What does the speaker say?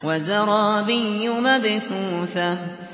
وَزَرَابِيُّ مَبْثُوثَةٌ